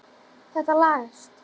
Þetta lagast.